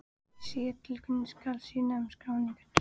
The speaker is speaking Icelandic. Í síðari tilvikinu skal synja um skráningu strax.